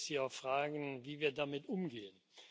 Da würde ich Sie auch fragen, wie wir damit umgehen.